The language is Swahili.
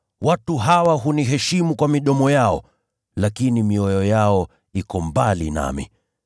“ ‘Watu hawa huniheshimu kwa midomo yao, lakini mioyo yao iko mbali nami.